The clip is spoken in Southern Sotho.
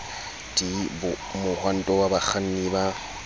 d mohwanto wa bakganni ba